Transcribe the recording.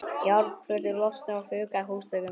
Járnplötur losnuðu og fuku af húsþökum.